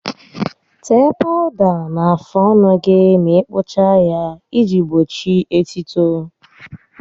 Tee pawụda na-afụ ọnụ gị ma ị kpụchaa ya iji gbochi etuto